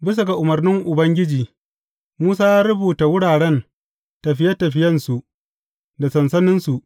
Bisa ga umarnin Ubangiji, Musa ya rubuta wuraren tafiye tafiyensu da sansaninsu.